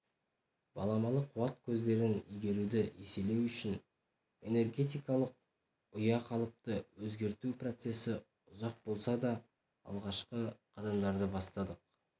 баламалы қуат көздерін игеруді еселеу үшін энергетикалық ұяқалыпты өзгерту процесі ұзақ болса да алғашқы қадамдарды бастадық